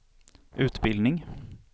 utbildning